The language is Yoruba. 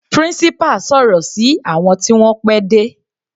Principal sọ̀rọ̀ sí àwọn tí wọ́n pẹ́ dé.